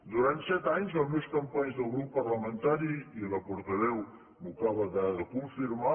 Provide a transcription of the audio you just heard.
durant set anys els meus companys de grup parlamentari i la portaveu m’ho acaba de confirmar